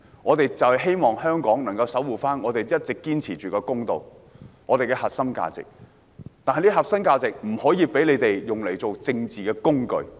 我們希望香港能夠守護一直堅持的公道和核心價值，這個核心價值不能被他們利用作為政治工具。